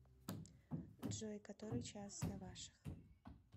джой который час на ваших